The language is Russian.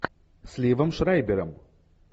с ливом шрайбером